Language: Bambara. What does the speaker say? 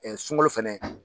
sunkalo fɛnɛ